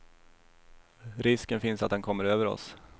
Risken finns att den kommer över oss.